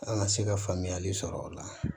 An ka se ka faamuyali sɔrɔ o la